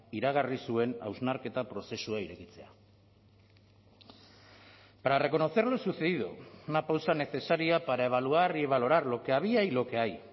iragarri zuen hausnarketa prozesua irekitzea para reconocer lo sucedido una pausa necesaria para evaluar y valorar lo que había y lo que hay